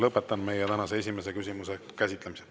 Lõpetan meie tänase esimese küsimuse käsitlemise.